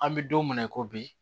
An bɛ don min na i ko bi